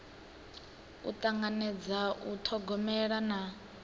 u tanganedza u thogomela na